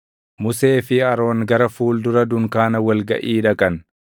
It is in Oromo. Musee fi Aroon gara fuuldura dunkaana wal gaʼii dhaqan;